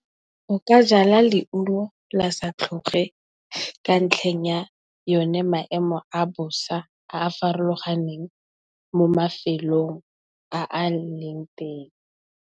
Nka jala leungo la sa tlhoge, ka ntlheng ya yone maemo a bosa a a farologaneng mo mafelong a a leng teng.